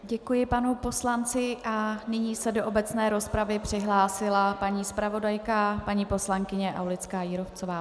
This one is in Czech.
Děkuji panu poslanci a nyní se do obecné rozpravy přihlásila paní zpravodajka paní poslankyně Aulická-Jírovcová.